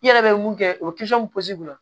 I yɛrɛ bɛ mun kɛ o pozi kun